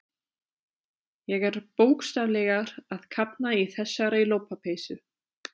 Ég er bókstaflega að kafna í þessari lopapeysu.